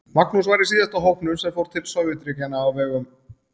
Magnús var í síðasta hópnum sem fór til Sovétríkjanna á vegum